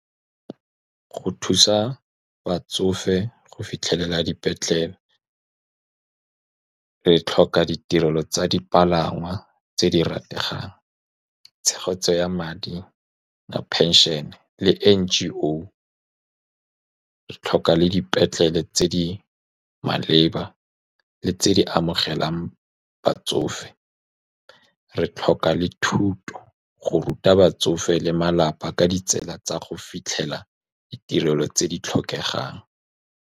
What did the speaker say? Go thusa batsofe go fitlhelela dipetlele, re tlhoka ditirelo tsa dipalangwa tse di rategang, tshegetso ya madi a pension-e le N_G_O. Re tlhoka le dipetlele tse di maleba tse di amogelang batsofe, re tlhoka le thuto go ruta batsofe le malapa ka ditsela tsa go fitlhelela ditirelo tse di tlhokegang.